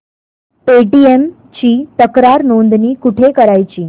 Paytm ची तक्रार नोंदणी कुठे करायची